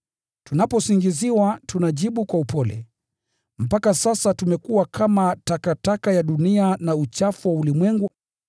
tunaposingiziwa, tunajibu kwa upole. Mpaka sasa tumekuwa kama takataka ya dunia na uchafu wa ulimwengu.